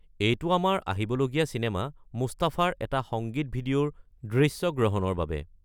এইটো আমাৰ আহিবলগীয়া চিনেমা 'মুস্তাফা'ৰ এটা সংগীত ভিডিঅ'ৰ দৃশ্যগ্ৰহণৰ বাবে।